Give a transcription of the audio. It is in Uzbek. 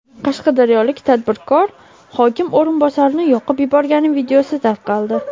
Qashqadaryolik tadbirkor hokim o‘rinbosarini yoqib yuborgani videosi tarqaldi.